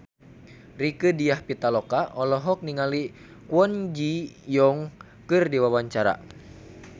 Rieke Diah Pitaloka olohok ningali Kwon Ji Yong keur diwawancara